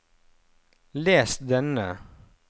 les denne